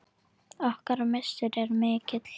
Okkar missir er mikill.